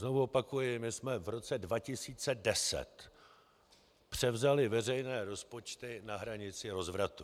Znovu opakuji, my jsme v roce 2010 převzali veřejné rozpočty na hranici rozvratu.